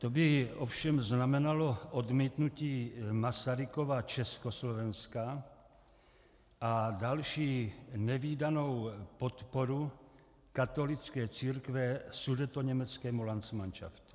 To by ovšem znamenalo odmítnutí Masarykova Československa a další nevídanou podporu katolické církve sudetoněmeckému landsmanšaftu.